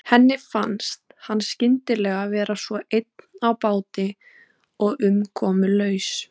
Henni fannst hann skyndilega vera svo einn á báti og umkomulaus.